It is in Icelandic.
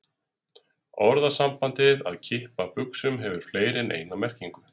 Orðasambandið að kippa buxum hefur fleiri en eina merkingu.